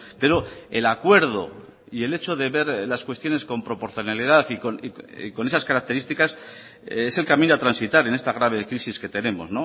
pero el acuerdo y el hecho de ver las cuestiones con proporcionalidad y con esas características es el camino a transitar en esta grave crisis que tenemos